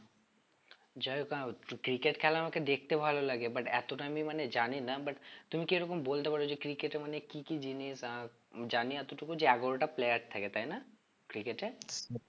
যাই হোক না cricket খেলা আমাকে দেখতে ভালো লাগে but এতটা আমি মানে জানি না but তুমি কি এরকম বলতে পারো যে cricket এ মানে কি কি জিনিস আহ জানি এতটুকু যে এগারোটা player থাকে তাই না? cricket এ